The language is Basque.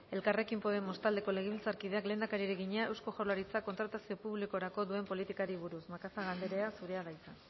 elkarrekin podemos taldeko legebiltzarkideak lehendakariari egina eusko jaurlaritzak kontratazio publikorako duen politikari buruz macazaga andrea zurea da hitza